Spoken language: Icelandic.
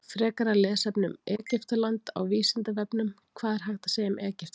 Frekara lesefni um Egyptaland á Vísindavefnum: Hvað er hægt að segja um Egyptaland?